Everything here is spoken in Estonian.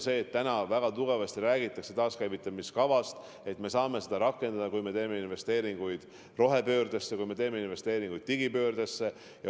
Praegu väga palju räägitakse taaskäivitamiskavast, aga me saame seda rakendada, kui me teeme investeeringuid rohepöördesse, kui me teeme investeeringuid digipöördesse.